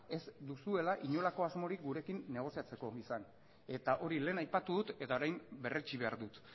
ez duzuela inolako asmorik gurekin negoziatzeko izan eta hori lehen aipatu dut eta orain berretsi behar dut